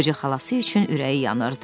Qoca xalası üçün ürəyi yanırdı.